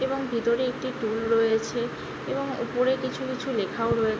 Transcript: এবং ভিতরে একটি টুল রয়েছে এবং উপরে কিছু কিছু লেখাও রয়ে--